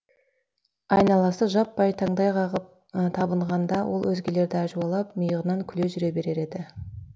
айналасы жаппай таңдай қағып табынғанда ол өзгелерді әжуалап миығынан күліп жүре берер еді